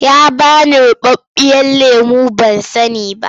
Ya ba ni ruɓaɓɓen lemo ban sani ba.